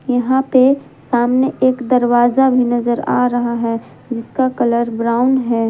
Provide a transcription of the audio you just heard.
यहां पे सामने एक दरवाजा भी नजर आ रहा है जिसका कलर ब्राउन है।